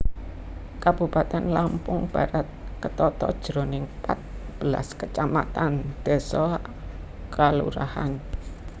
Kabupatèn Lampung Barat ketata jroning pat belas kacamatan désa/kalurahan